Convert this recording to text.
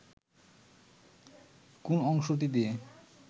কোন অংশটি দিয়ে